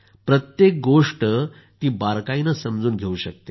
प्रत्येक गोष्ट ती बारकाईने समजून घेऊ शकते